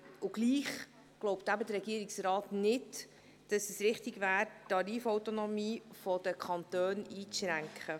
Trotzdem glaubt der Regierungsrat nicht, dass es richtig ist, die Tarifautonomie der Kantone einzuschränken.